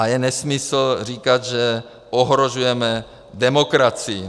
A je nesmysl říkat, že ohrožujeme demokracii.